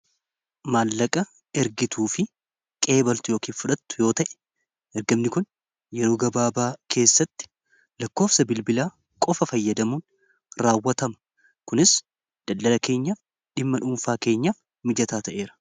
Maallaqa ergituu fi qeebaltu ykn fudhattu yoo ta'e ergamni kun yeroo gabaabaa keessatti lakkoofsa bilbilaa qofa fayyadamuun raawwatama kunis daldala keenyaaf dhimma dhuunfaa keenyaaf mijataa ta'eera.